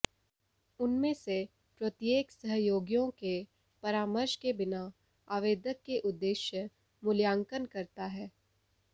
उनमें से प्रत्येक सहयोगियों के परामर्श के बिना आवेदक के उद्देश्य मूल्यांकन करता है